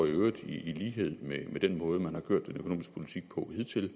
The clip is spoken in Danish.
øvrigt i lighed med den måde man har kørt den økonomiske politik på hidtil